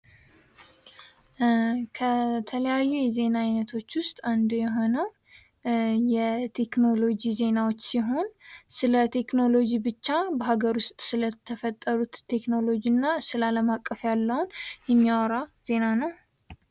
ከተለያዩ የዜና አይነቶች ውስጥ አንዱ የሆነው የቴክኖሎጂ ዜናዎች ሲሆን ስለ ቴክኖሎጂ ብቻ በሀገር ውስጥ ስለተፈጠሩት ቴክኖሎጂ እና ስለ አለም አቀፍ ያለውን የሚያወራ ዜና ነው።